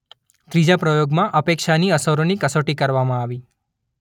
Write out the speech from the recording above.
ત્રીજા પ્રયોગમાં અપેક્ષાની અસરોની કસોટી કરવામાં આવી.